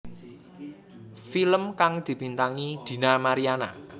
Film kang dibintangi Dina Mariana